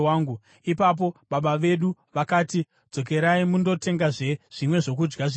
“Ipapo baba vedu vakati, ‘Dzokerai mundotengazve zvimwe zvokudya zvishoma.’